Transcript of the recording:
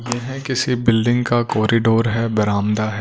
यह किसी बिल्डिंग का कोरीडोर है बरामदा है।